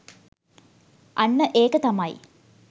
අන්න ඒක තමයි